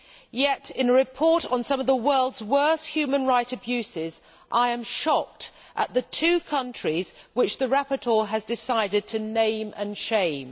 Yet, in a report on some of the world's worst human rights abuses, I am shocked at the two countries which the rapporteur has decided to name and shame.